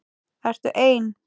Ertu ein?